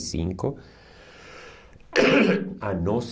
e cinco A